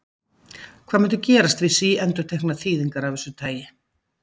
Hvað mundi gerast við síendurteknar þýðingar af því tagi?